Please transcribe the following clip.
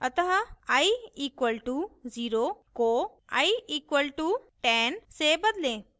अतः i equal to 0 को i equal to 10 से बदलें